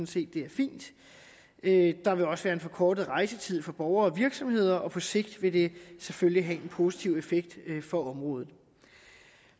set det er fint der vil også være en forkortet rejsetid for borgere og virksomheder og på sigt vil det selvfølgelig have en positiv effekt for området